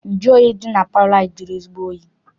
Nju oyi dị na palọ anyị jụrụ ezigbo oyi.